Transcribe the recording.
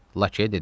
Lakeyə dedim: